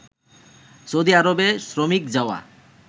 Saudi আরবে শ্রমিক যাওয়া